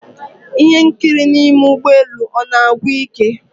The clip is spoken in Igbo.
Ihe nkiri n'ime ụgbọ elu ọ na-agwụ ike?